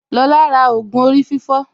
Lọlá ra ògù orí fífọ́